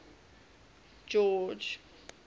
george